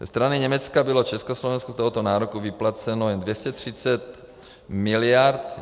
Ze strany Německa bylo Československu z tohoto nároku vyplaceno jen 230 miliard.